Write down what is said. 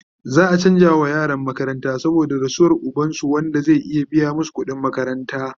za'a chanza wa yaran makaranta saboda rasuwan ubansu, ba Wanda zai iya biya masu kudin makaranta